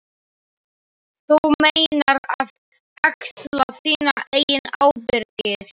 Þú meinar að axla þína eigin ábyrgð.